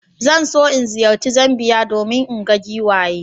Zan so in ziyarci Zambiya don in ga giwaye.